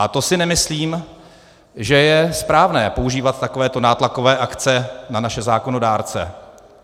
A to si nemyslím, že je správné používat takové nátlakové akce na naše zákonodárce.